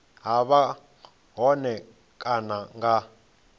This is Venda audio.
ha vha hone kana nga